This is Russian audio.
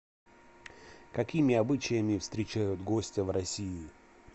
какими обычаями встречают гостя в россии